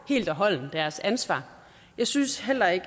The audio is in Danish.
helt og holdent deres ansvar jeg synes heller ikke